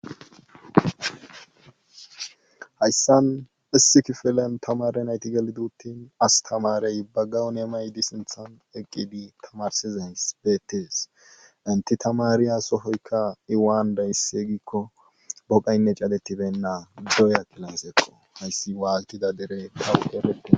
Hayssan issi kifilen tamaare nayti gelidi uttini astamaare ba gawuniya mayidi sinthan eqqidi tamaarssizayssi beettes entti tamaariya sohoykka i waanidaysse giikko godaynne cadettibena dooya kilaasekko hayssi waatida dere bawu qofettin.